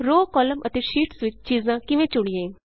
row column ਅਤੇ sheets ਵਿਚ ਚੀਜਾਂ ਕਿਵੇਂ ਚੁਣੀਏ